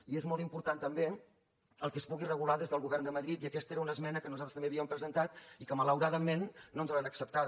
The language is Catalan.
i és molt important també que es pugui regular des del govern de madrid i aquesta era una esmena que nosaltres també havíem presentat i que malauradament no ens l’han acceptada